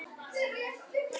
Fannst ekki vera mikið úrval.